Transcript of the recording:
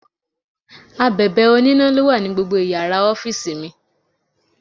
Abèbè oníná ló wà ní gbogbo Ìyàrá ọ́fíìsì mi.